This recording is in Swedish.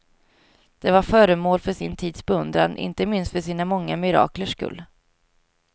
De var föremål för sin tids beundran, inte minst för sina många miraklers skull.